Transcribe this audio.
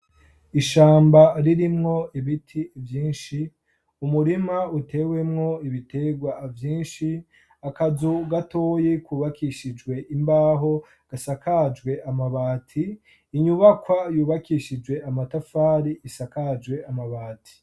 Ishamba ririmwo ibiti vyinshi, umurima utewemwo ibitegwa vyinshi akazu gatoyi kubakishijwe imbaho gasakajwe amabati inyubakwa yubakishijwe amatafari isakajwe amabati.